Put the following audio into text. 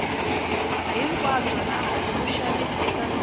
hinkwabyo na vaxavis eka michini